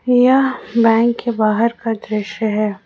यह बैंक के बाहर का दृश्य है।